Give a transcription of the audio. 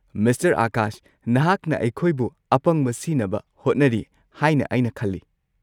Mister Akash, ꯅꯍꯥꯛꯅ ꯑꯩꯈꯣꯏꯕꯨ ꯑꯄꯪꯕ ꯁꯤꯅꯕ ꯍꯣꯠꯅꯔꯤ ꯍꯥꯏꯅ ꯑꯩꯅ ꯈꯜꯂꯤ꯫